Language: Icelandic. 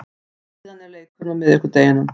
Síðan er leikurinn á miðvikudeginum.